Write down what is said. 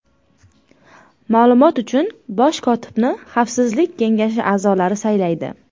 Ma’lumot uchun, bosh kotibni Xavfsizlik kengashi a’zolari saylaydi.